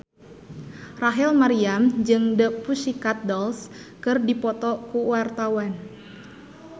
Rachel Maryam jeung The Pussycat Dolls keur dipoto ku wartawan